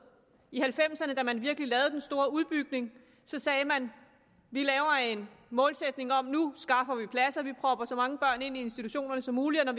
i nitten halvfems ’erne da man virkelig lavede den store udbygning sagde man vi laver en målsætning om at nu skaffer vi pladser vi propper så mange børn ind i institutionerne som muligt og